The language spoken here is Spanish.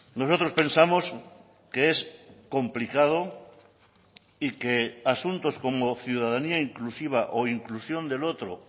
nosotros pensamos que es complicado y que asuntos como ciudadanía inclusiva o inclusión del otro